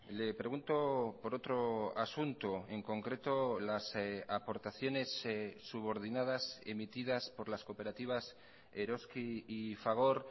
le pregunto por otro asunto en concreto las aportaciones subordinadas emitidas por las cooperativas eroski y fagor